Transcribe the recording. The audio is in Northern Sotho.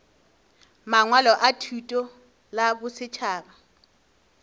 mangwalo a thuto la bosetšhaba